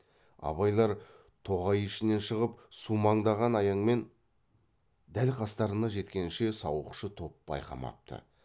абайлар тоғай ішінен шығып сумаңдаған аяңмен дәл қастарына жеткенше сауықшы топ байқамапты